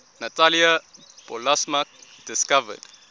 natalia polosmak discovered